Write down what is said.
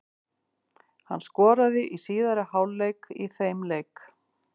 Hann skoraði í síðari hálfleik í þeim leik.